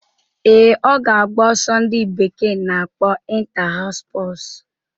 Ee, ọ ga-agba ọsọ ndị bekee na-akpọ Inta-haus spọsu